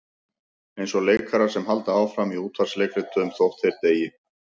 Eins og leikarar sem halda áfram í útvarpsleikritum þótt þeir deyi.